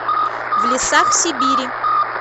в лесах сибири